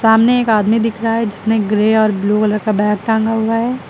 सामने एक आदमी दिख रहा है जिसने ग्रे और ब्लू कलर का बैग टांगा हुआ है।